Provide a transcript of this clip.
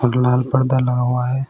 लाल पर्दा लगा हुआ है।